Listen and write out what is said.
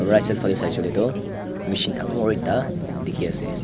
right side fase sailey letu machine dangol ekta dikhi ase.